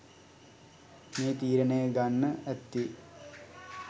මේ තීරණය ගන්න ඇත්තේ